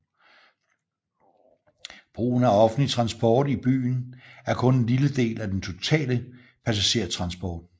Brugen af offentlig transport i byen er kun en lille del af den totale passagerertransport